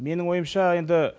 менің ойымша енді